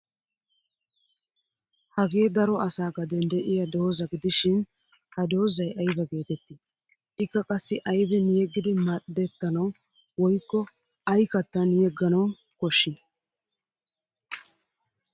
Hagee daro asaa gaden de'iyaa doozza gidishin ha doozzay aybaa geettettii? Ikka qassi aybin yeggidi madhdetanawu woykko ay kattan yegganawu kishshii?